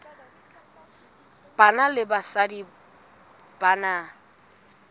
banna le basadi ba na